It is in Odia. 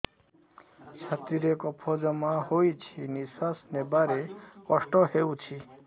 ଛାତିରେ କଫ ଜମା ହୋଇଛି ନିଶ୍ୱାସ ନେବାରେ କଷ୍ଟ ହେଉଛି